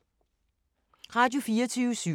Radio24syv